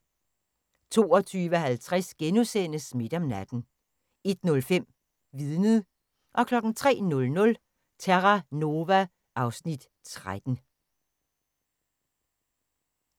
22:50: Midt om natten * 01:05: Vidnet 03:00: Terra Nova (Afs. 13)